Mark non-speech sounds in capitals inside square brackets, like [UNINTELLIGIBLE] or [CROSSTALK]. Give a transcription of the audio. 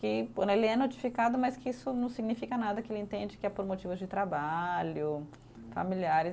que [UNINTELLIGIBLE] ele é notificado, mas que isso não significa nada, que ele entende que é por motivos de trabalho, familiares.